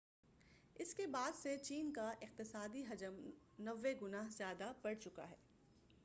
اس کے بعد سے چین کا اقتصادی حجم 90 گنا زیادہ بڑھ چکا ہے